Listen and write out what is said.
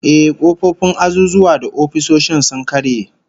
Ehh, kofofin azuzuwa da ofisoshi sun karye